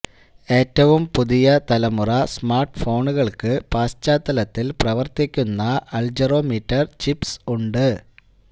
ഏറ്റവും പുതിയ തലമുറ സ്മാർട്ട് ഫോണുകൾക്ക് പശ്ചാത്തലത്തിൽ പ്രവർത്തിക്കുന്ന അൾജെറോമീറ്റർ ചിപ്സ് ഉണ്ട്